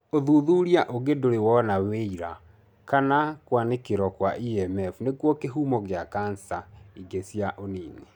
Ũthuthuria ũngĩ ndũrĩ wona wĩira kana kwanĩkĩro kwa EMF nĩkuo kĩhumo kĩa cancer ingĩ cia ũnini.